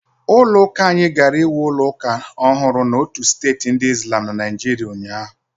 Ụlọ uka anyị gara ịwu ụlọ ụka ọhụrụ n'otu steeti ndi islam na Naịjirịa ụnyahụ.